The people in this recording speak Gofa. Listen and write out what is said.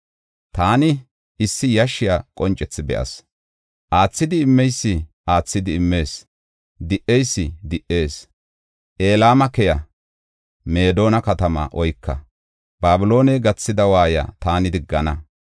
Taani issi yashshiya qoncethi be7as; aathid immeysi aathidi immees; di77eysi di77ees. Elama keya! Meedona katamaa oyka! Babilooney gathida waayiya taani diggana.